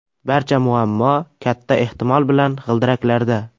Barcha muammo, katta ehtimol bilan, g‘ildiraklarda.